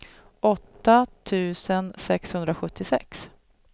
åtta tusen sexhundrasjuttiosex